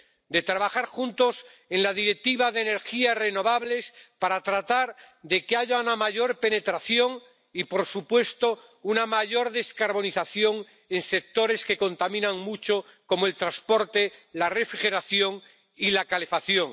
De trabajar juntos en la Directiva de energías renovables para tratar de que haya una mayor penetración, y por supuesto una mayor descarbonización, en sectores que contaminan mucho como el transporte, la refrigeración y la calefacción.